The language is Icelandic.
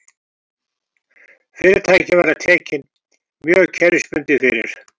Fyrirtækin verða tekin mjög kerfisbundið fyrir